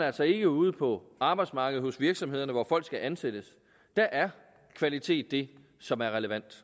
altså ikke ude på arbejdsmarkedet hos virksomhederne hvor folk skal ansættes der er kvalitet det som er relevant